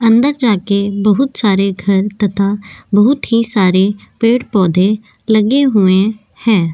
अंदर जाके बहुत सारे घर तथा बहुत ही सारे पेड़-पौधे लगे हुए हैं।